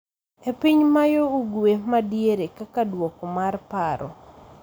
e piny ma yo ugwe' ma diere kaka duoko mar paro